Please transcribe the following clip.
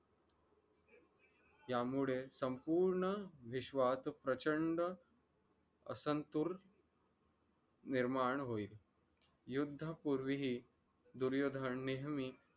त्यामुळे संपूर्ण विश्वात प्रचंड असंत्तुर निर्माण होईल. युद्ध पूर्वी हि दुर्योधन नेहमी